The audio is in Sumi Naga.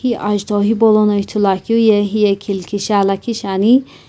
hi ajutho hipaulono ithuluakeu ye hiye khilkishi aa lakhi shiani.